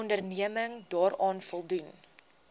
onderneming daaraan voldoen